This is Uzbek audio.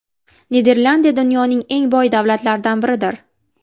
Niderlandiya dunyoning eng boy davlatlardan biridir.